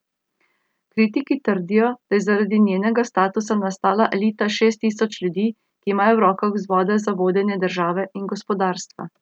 Kritiki trdijo, da je zaradi njenega statusa nastala elita šest tisočih ljudi, ki imajo v rokah vzvode za vodenje države in gospodarstva.